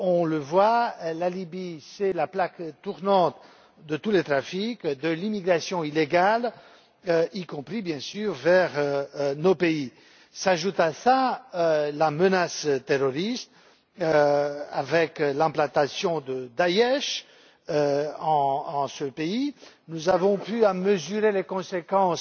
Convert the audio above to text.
On le voit, la Libye est la plaque tournante de tous les trafics, de l'immigration illégale, y compris, bien sûr, vers nos pays. S'ajoute à cela la menace terroriste avec l'implantation de Daech dans ce pays. Nous avons pu en mesurer les conséquences